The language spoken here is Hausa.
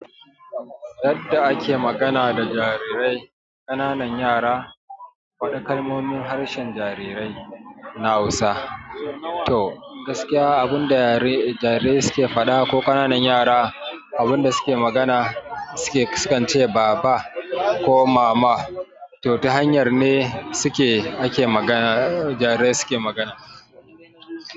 Yadda ake magana da jarirai, ƙananan yara wasu kalmomin harshen jariri na Hausa. To gaskiya abun da jarirai suke faɗa ko ƙananan yara abun da suke magana sukan ce baba ko mama. To ta hanyar ne suke ake magana jarirai suke magana.